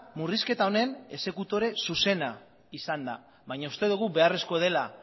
murrizketa honen exekutore zuzena izan da baina uste dugu beharrezko dela